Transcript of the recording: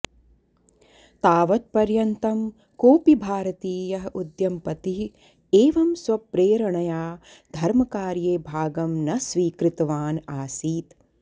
तावत् पर्यन्तं कोऽपि भारतीयः उद्यमपतिः एवं स्वप्रेरणया धर्मकार्ये भागं न स्वीकृतवान् आसीत्